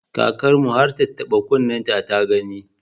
Kakar mu har tattaɓa kunnenta ta gani.